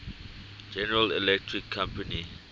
general electric company